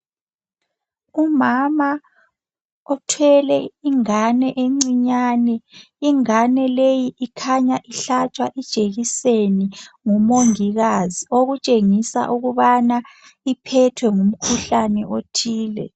Umama uthwele ingane encinyane, ingane leyi kukhanya ihlatshwa ijekiseni ngumongikazi okutshengisa ukubana iphethwe ngumkhuhlane othile.